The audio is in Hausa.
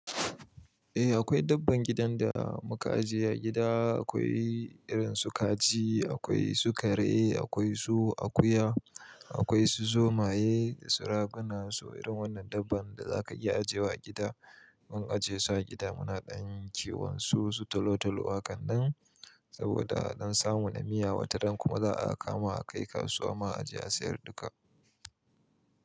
Eh akwai dabbban gidan da muka ajiye a gida, akwai irin su kaji, akwai su kare, akwai su akuya, akwai su zomaye, su raguna, su irin wannan dabba da za ka iya ajewa a gida. In aje su a gida muna ɗan yin ciwon su, su tolo tolo, akandan saboda don samu na miya wata ran kuma za a kama a kai kasuwa mu ajiye a sayar duka.